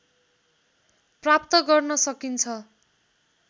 प्राप्त गर्न सकिन्छ